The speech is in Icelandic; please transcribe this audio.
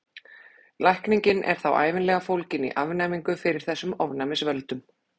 Lækningin er þá ævinlega fólgin í afnæmingu fyrir þessum ofnæmisvöldum.